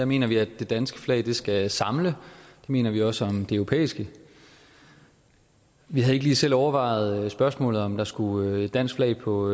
mener vi at det danske flag skal samle det mener vi også om det europæiske vi havde ikke lige selv overvejet spørgsmålet om der skulle et dansk flag på